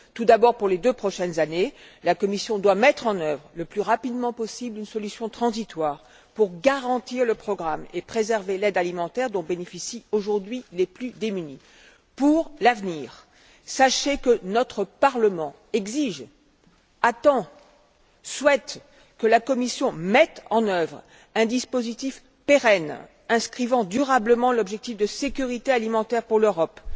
Tout d'abord, pour les deux prochaines années, la Commission doit mettre en œuvre, le plus rapidement possible, une solution transitoire pour garantir le programme et préserver l'aide alimentaire dont bénéficient aujourd'hui les plus démunis. Pour l'avenir, sachez que notre Parlement exige, attend, souhaite que la Commission mette en œuvre un dispositif pérenne, consacrant durablement l'objectif de sécurité alimentaire pour l'Europe